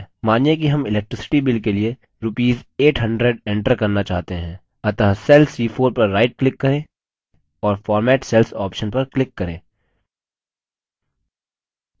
मानिए कि हम electricity bill के लिए rupees 800 enter करना चाहते हैं अतः cell c4 पर right click करें और format cells option पर click करें